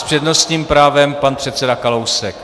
S přednostním právem pan předseda Kalousek.